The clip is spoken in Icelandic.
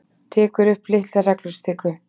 Tekur upp litla reglustiku.